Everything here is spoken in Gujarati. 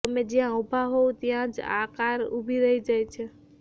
તમે જ્યાં ઊભા હોવ ત્યાં જ આ કાર ઊભી રહી જાય છે